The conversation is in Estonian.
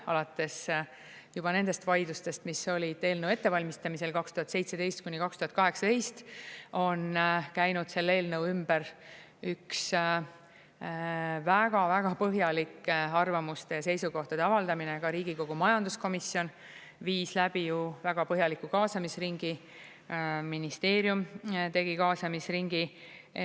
Alates juba nendest vaidlustest, mis olid eelnõu ettevalmistamisel 2017–2018, on käinud selle eelnõu ümber üks väga-väga põhjalik arvamuste ja seisukohtade avaldamine, ka Riigikogu majanduskomisjon viis läbi ju väga põhjaliku kaasamisringi, ministeerium tegi kaasamisringi.